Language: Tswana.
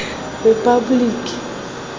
repaboliki